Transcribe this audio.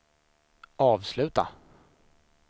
avsluta